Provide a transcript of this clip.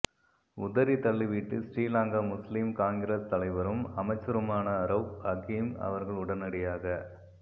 உதறித்தள்ளிவிட்டு ஸ்ரீலங்கா முஸ்லிம் காங்கிரஸ் தலைவரும் அமைச்சருமான ரவுப் ஹக்கீம் அவர்கள் உடனடியாக